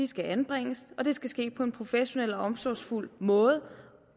skal anbringes og at det skal ske på en professionel og omsorgsfuld måde og